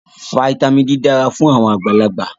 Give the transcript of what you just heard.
Fítàmì D dara fun awon agbalagba.